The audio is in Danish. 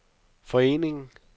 foreningen